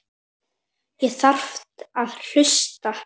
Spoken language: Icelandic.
Þú þarft að hlusta.